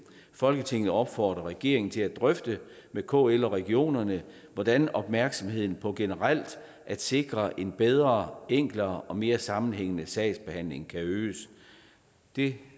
folketinget opfordrer regeringen til at drøfte med kl og regionerne hvordan opmærksomheden på generelt at sikre en bedre enklere og mere sammenhængende sagsbehandling kan øges det